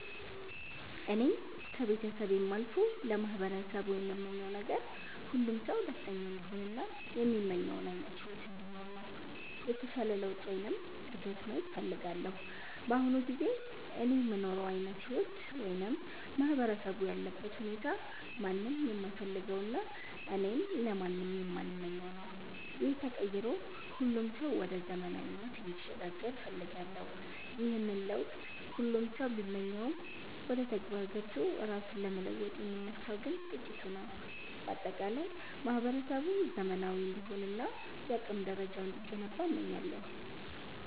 እኔ ከቤተሰቤም አልፎ ለማህበረሰቡ የምመኘው ነገር፣ ሁሉም ሰው ደስተኛ እንዲሆን እና የሚመኘውን ዓይነት ሕይወት እንዲኖር ነው። የተሻለ ለውጥ ወይም እድገት ማየት እፈልጋለሁ። በአሁኑ ጊዜ እኔ የምኖረው ዓይነት ሕይወት ወይም ማህበረሰቡ ያለበት ሁኔታ ማንም የማይፈልገውና እኔም ለማንም የማልመኘው ነው። ይህ ተቀይሮ ሁሉም ሰው ወደ ዘመናዊነት እንዲሸጋገር እፈልጋለሁ። ይህንን ለውጥ ሁሉም ሰው ቢመኘውም፣ ወደ ተግባር ገብቶ ራሱን ለመለወጥ የሚነሳው ግን ጥቂቱ ነው። በአጠቃላይ ማህበረሰቡ ዘመናዊ እንዲሆንና የአቅም ደረጃው እንዲገነባ እመኛለሁ።